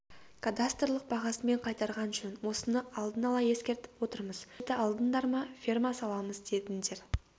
кадастрлық бағасымен қайтарған жөн осыны алдын ала ескертіп отырмыз жерді алдыңдар ма ферма саламыз дедіңдер